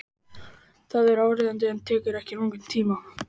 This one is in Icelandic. Það er áríðandi en tekur ekki langan tíma.